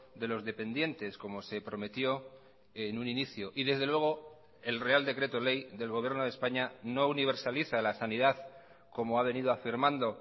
de los dependientes como se prometió en un inicio y desde luego el real decreto ley del gobierno de españa no universaliza la sanidad como ha venido afirmando